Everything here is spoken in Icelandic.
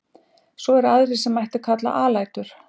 Svo eru aðrar sem mætti kalla alætur.